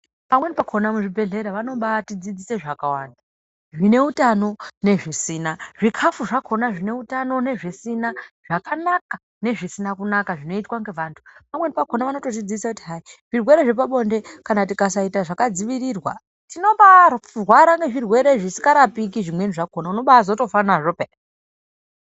Pamweni pakona muzvibhedhlera vanobati dzidzisa zvakawanda zvineutano nezvisina, zvikafu zvakona zvineutano nezvisina, zvakanaka nezvisina kunaka zvinoitwa ngevantu. Pamweni pakona vanotodzidzisa kuti hai zvirwere zvirwere zvapabonde kana tikasaita zvakadzivirira tinobarwara ngezvirwere zvisingarapiki pamweni pakona unobatozofa nazvo peya.